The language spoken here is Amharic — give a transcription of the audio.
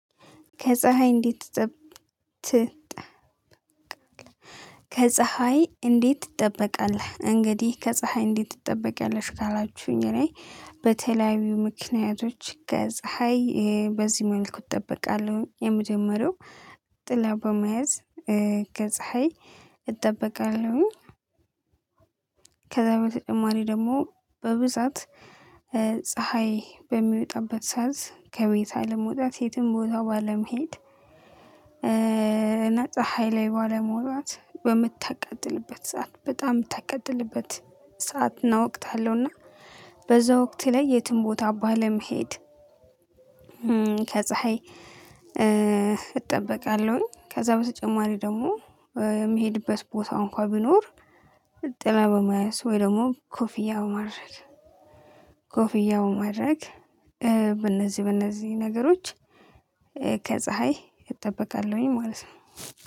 ከፀሀይ እንዴት ትጠብቃለህ ከፀሀይ እንዴት ትጠበቃለህ እንግዲህ ከፀሀይ እንዴት ትጠበቂያለሽ ካላችሁኝ እኔ በተለያዩ ምክንያቶች ገዝ ሃይ በዚህ መልኩ እጠብቃለሁ የመጀመሪያው ጥላ በመያዝ እህ ከፀሀይ እጠበቃለሁ። ከዛ በተጨማሪ ደግሞ በብዛት እህ ፀሀይ በሚወጣበት ሰዓት ከቤት አለመውጣት የትም ቦታው ባለመሄድ ፀሀይ ላይ ባለመዉጣት በምታቀጥልበት ሰዓት በጣም ምታቀጥልበት ሰዓት እና ወቅት አለዉና በዛ ወቅት ላይ የትም ቦታ ባለመሄድ ከፀሀይ እህ እጠበቃለሁኝ ከዛ በተጨማሪ ደግሞ እህ የሚሄድበት ቦታ እንኳን ቢኖር ጥላ በመያዝ ወይ ደግሞ ኮፍያ በማድረግ ኮፍያ ማድረግ በእነዚህ በእነዚህ ነገሮች ከፀሀይ እጠበቃለሁኝ ማለት ነው